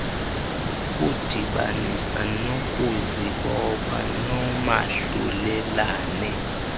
kudibanisa ngokuzibopha noomahlulelane